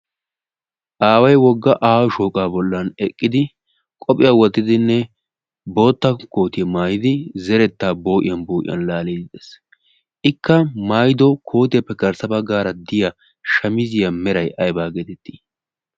aaway wogga aawa shooqaa bollan eqqidi qophiyaa wottidinne bootta kootiyaa maayidi zerettaa boo'iyan boo'iyan laaliidi ees ikka maayido kootiyaappe garssa ba gaara diya shamiziyaa meray aybaa geetettii?